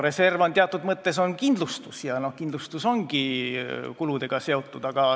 Reserv on teatud mõttes kindlustus ja kindlustus ongi kuludega seotud.